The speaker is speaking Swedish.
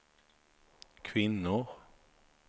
kvinnor